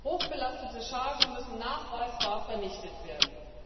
Hochbelastete Chargen müssen nachweisbar vernichtet werden.